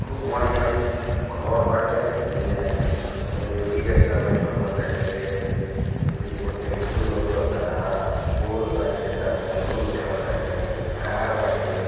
खू पाणीआ गोर बाटे अने अने ई-रिक्षा भी लोका ताटे पूतीन को टेम्पो लोका टा पुल बा टेता लोका टेता ताटे कार बाटे।